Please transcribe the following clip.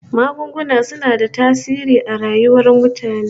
Magunguna suna da tasiri a rayuwar mutane